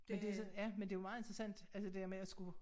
Ja det sådan ja men det jo meget interessant altså det dér med at skulle